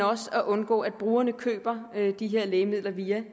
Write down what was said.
også for at undgå at brugerne køber de her lægemidler via